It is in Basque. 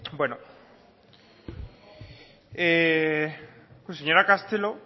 bueno señora castelo